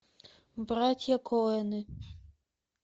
братья коэны